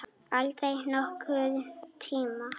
Aldrei nokkurn tíma!